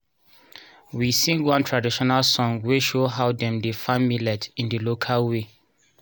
we sing one traditional song wey show how dem dey farm millet in the local way